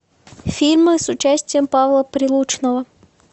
фильмы с участием павла прилучного